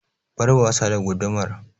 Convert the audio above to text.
Bar wasa da gudumar!